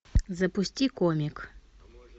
запусти комик